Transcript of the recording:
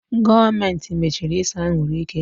Gọọmenti machiri ise anwụrụ ike.